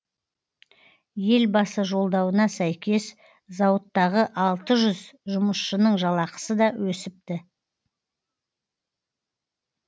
елбасы жолдауына сәйкес зауыттағы алты жүз жұмысшының жалақысы да өсіпті